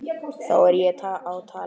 Það er á tali.